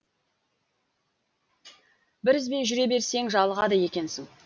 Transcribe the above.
бір ізбен жүре берсең жалығады екенсің